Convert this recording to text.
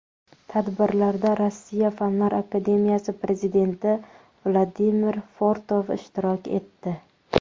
Tadbirlarda Rossiya Fanlar akademiyasi prezidenti Vladimir Fortov ishtirok etdi.